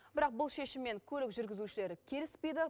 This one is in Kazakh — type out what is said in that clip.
бірақ бұл шешіммен көлік жүргізушілері келіспейді